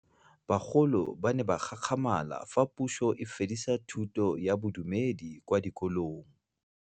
Bagolo ba ne ba gakgamala fa Pusô e fedisa thutô ya Bodumedi kwa dikolong.